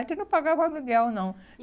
A gente não pagava aluguel, não.